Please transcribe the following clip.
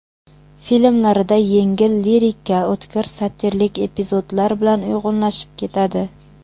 Filmlarida yengil lirika o‘tkir satirik epizodlar bilan uyg‘unlashib ketadi.